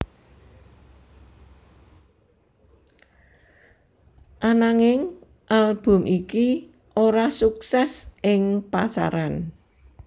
Ananging album iki ora suksès ing pasaran